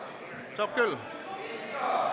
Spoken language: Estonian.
Saab küll.